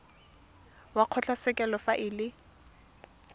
wa kgotlatshekelo fa e le